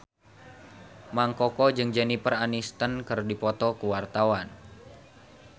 Mang Koko jeung Jennifer Aniston keur dipoto ku wartawan